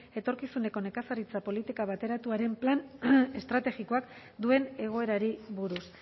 etorkizuneko nekazaritza politika bateratuaren npb plan estrategikoak duen egoerari buruz